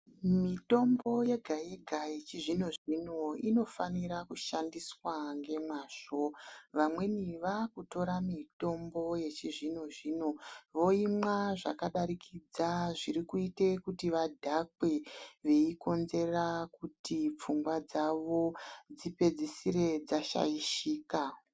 Mitombo yega-yega yechizvino-zvino inofanira kushandiswa ngemwazvo. Vamweni vakutora mitombo yechizvino-zvino, voimwa zvakadarikidza zvirikuite kuti vadhakwe veikonzera kuti pfungwa dzavo dzipedzisire dzashaishika.